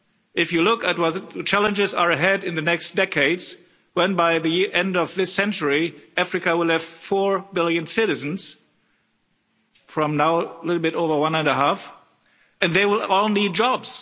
If you look at what challenges are ahead in the next decades, when by the end of this century, Africa will have four billion citizens from now a little bit over one and a half billion and they will all need jobs.